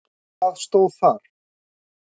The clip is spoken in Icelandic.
Hvað stóð þar?